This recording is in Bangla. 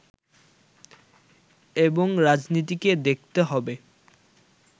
এবং রাজনীতিকে দেখতে হবে